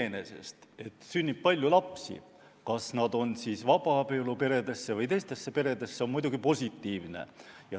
Iseenesest on positiivne, et sünnib palju lapsi, olgu siis vabaabielu peredesse või teistesse peredesse.